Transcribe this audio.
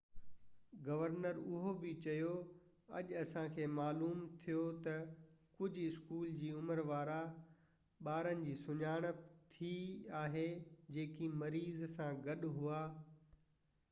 governor اهو بہ چيو اڄ اسان کي معلوم ٿيو تہ ڪجهہ اسڪول جي عمر وارا ٻارن جي سڃاڻپ ٿي آهي جيڪي مريض سان گڏ هئا